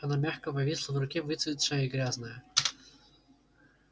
она мягко повисла в руке выцветшая и грязная